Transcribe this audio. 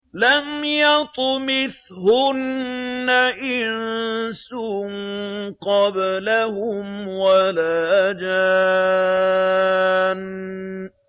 لَمْ يَطْمِثْهُنَّ إِنسٌ قَبْلَهُمْ وَلَا جَانٌّ